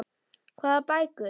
Hvað bækur?